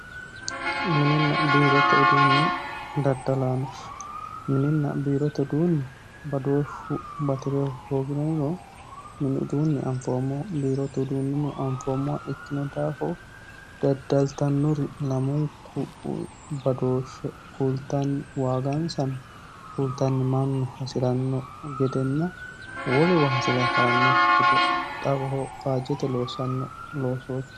mininna biirote uduunni daddalaano mininna biirote uduunni badooshshu batirehu hoogiromino mini uduunni anfoommo biirote uduunnino anfoommowa ikkino daaho daddaltannuri lamunku badooshshe kultanni waagansano kultannimanno hasiranno gedenna woliwa hasire harannokki gede xawoho faajjete loossanno loosootti